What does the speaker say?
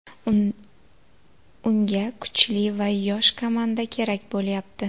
Unga kuchli va yosh komanda kerak bo‘lyapti.